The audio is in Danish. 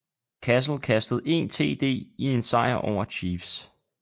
Cassel kastede 1 td i en sejr over chiefs